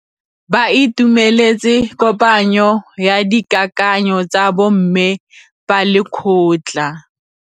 Ba itumeletse kôpanyo ya dikakanyô tsa bo mme ba lekgotla.